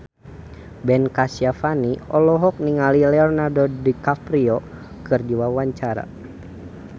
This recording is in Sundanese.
Ben Kasyafani olohok ningali Leonardo DiCaprio keur diwawancara